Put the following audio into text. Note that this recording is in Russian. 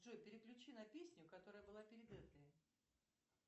джой переключи на песню которая была перед этой